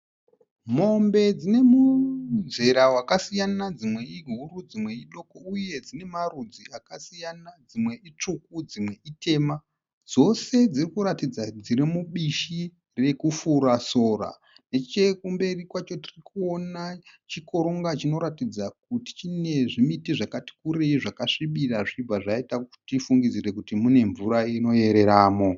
Mombe dzine muzera wakasiyana dzimwe ihuru, dzimwe idoko uye dzine marudzi akasiyana, dzimwe itsviku dzimwe itema. Dzose dziri kuratidza kuti dziri mubishi rekufura sora. Nechekumberi kwacho tiri kuona chikoronga chinoratidza kuti chine zvimiti zvakati kurei zvakasvibira zvichibva zvaita kuti tifungidzire kuti mune mvura inoyereramo.